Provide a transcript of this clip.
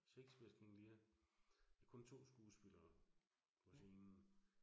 Shakespeares King Lear, med kun 2 skuespillere på scenen.